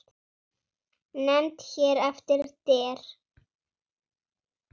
Nefnd hér eftir: Der